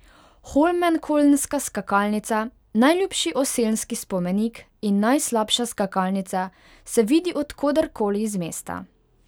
Holmenkollnska skakalnica, najljubši oselski spomenik in najslabša skakalnica, se vidi od koder koli iz mesta.